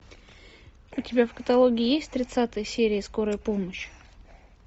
у тебя в каталоге есть тридцатая серия скорая помощь